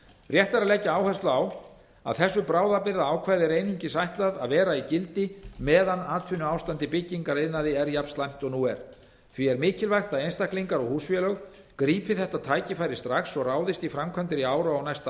rétt er að leggja áherslu á að þessu bráðabirgðaákvæði er einungis ætlað að vera í gildi meðan atvinnuástand í byggingariðnaði er jafn slæmt og nú er því er mikilvægt að einstaklingar og húsfélög grípi þetta tækifæri strax og ráðist í framkvæmdir í ár og á næsta ári